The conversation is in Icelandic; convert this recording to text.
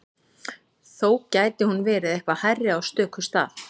Þó gæti hún verið eitthvað hærri á stöku stað.